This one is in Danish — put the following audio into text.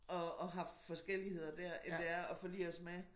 Og og har forskelligheder dér end det er at forlige os med